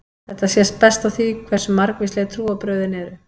Þetta sést best á því hversu margvísleg trúarbrögðin eru.